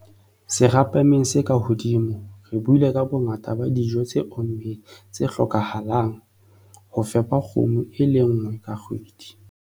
Serapeng se ka hodimo, re buile ka bongata ba dijo tse ommeng tse hlokahalang ho fepa kgomo e le nngwe ka kgwedi.